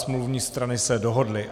Smluvní strany se dohodly.